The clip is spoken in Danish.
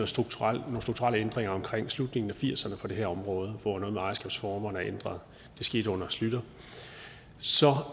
strukturelle ændringer omkring slutningen af nitten firserne på det her område hvor noget med ejerskabsformerne er blevet ændret det skete under schlüter